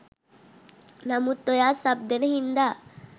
නමුත් ඔයා සබ් දෙන හින්දා